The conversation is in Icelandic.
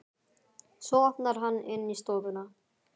Svo opnar hann inn í stofuna.